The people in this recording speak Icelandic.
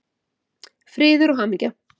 Friður og hamingja!